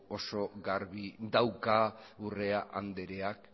oso garbi dauka urrea andreak